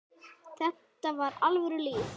Þetta var alvöru líf.